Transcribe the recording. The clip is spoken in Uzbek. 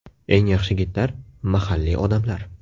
Eng yaxshi gidlar mahalliy odamlar.